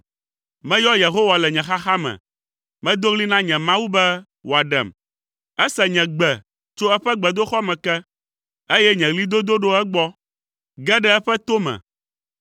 Meyɔ Yehowa le nye xaxa me; medo ɣli na nye Mawu be wòaɖem. Ese nye gbe tso eƒe gbedoxɔ me ke, eye nye ɣlidodo ɖo egbɔ, ge ɖe eƒe to me.